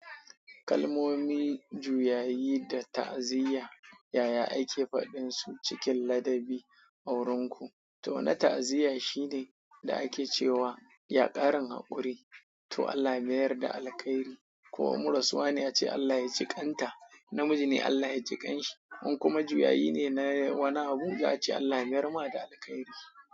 Kalmomi, juyayi da ta'aziyya yaya ake faɗin su cikin ladabi a wurin ku? To wani ta'aziyyan shi ne da ake cewa "Ya ƙarin haƙuri, to Allah ya mayar da alkhairi." Ko in ma rasuwa ne ace "Allah ya jiƙanta, in namiji ne Allah ya jiƙanshi." In kuma juyayi ne na wani abu za a ce "Allah ya mayar ma da alkhairi."